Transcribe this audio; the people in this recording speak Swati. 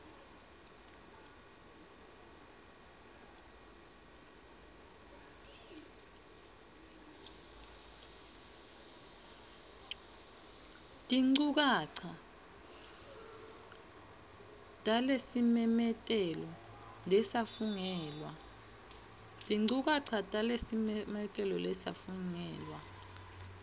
tinchukaca talesimemetelo lesafungelwa